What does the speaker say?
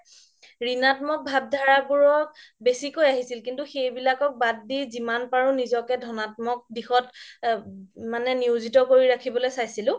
ঋণাত্মক ভাব ধাৰা বোৰও বেচিকৈ আহিছিল কিন্তু সেইবিলাক বাদ দি জিমান পাৰো নিজকে ধনাত্মক দিশত মানে নিয়োজিত কৰিবলৈ চাইছিলো